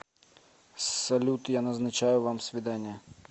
салют я назначаю вам свидание